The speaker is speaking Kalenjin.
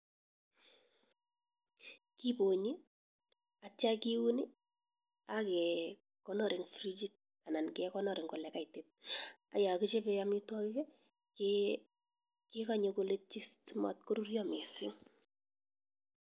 Kibonyi akitio kiun akitio kekonor en frigit anan kekonor en elekaitit, ak yoon kichobe amitwokik kekonye koletyi simot korurio kot mising'.